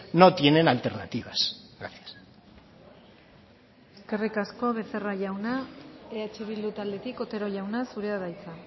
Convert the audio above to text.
no tienen alternativas gracias eskerrik asko becerra jauna eh bildu taldetik otero jauna zurea da hitza